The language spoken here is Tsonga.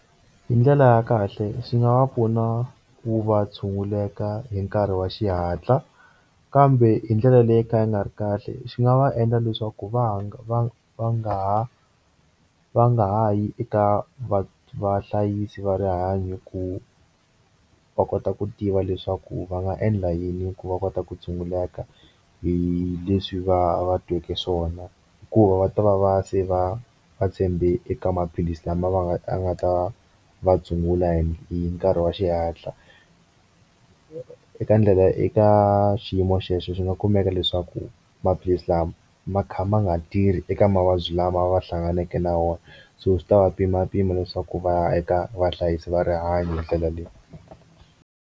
Hi ndlela ya kahle xi nga va pfuna ku va tshunguleka hi nkarhi wa xihatla kambe hi ndlela leyo ka yi nga ri kahle xi nga va endla leswaku va nga va va nga ha va nga ha yi eka va vahlayisi va rihanyo ku va kota ku tiva leswaku va nga endla yini ku va kota ku tshunguleka hi leswi va va tweke swona hikuva va ta va va se va va tshembe eka maphilisi lama va nga va nga ta va tshungula hi nkarhi wa xihatla eka ndlela eka xiyimo xexo xi nga kumeka leswaku maphilisi lama ma kha ma nga tirhi eka mavabyi lama va hlanganake na wona so swi ta va pima pima leswaku va ya eka vahlayisi va rihanyo hi ndlela leyi.